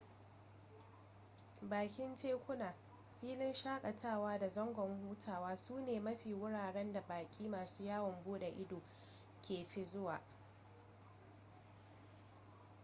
bakin tekuna filin shakatawa da zangon hutawa su ne mafi wuraren da baki masu yawon bude ido ke fi zuwa